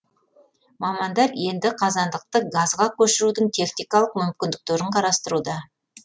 мамандар енді қазандықты газға көшірудің техникалық мүмкіндіктерін қарастыруда